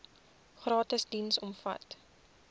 gratis diens omvat